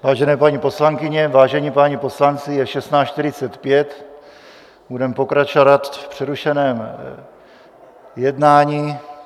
Vážené paní poslankyně, vážení páni poslanci, je 16.45, budeme pokračovat v přerušeném jednání.